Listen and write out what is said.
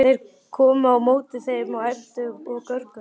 Þeir komu á móti þeim og æptu og görguðu.